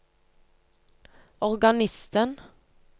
organisten